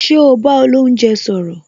Ṣé o bá olounje sọ̀rọ̀